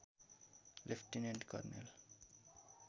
lieutenant कर्णेल